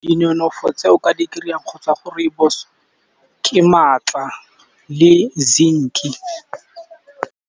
Dinonofo tse o ka di kry-ang kgotsa go rooibos ke maatla le zinc-e.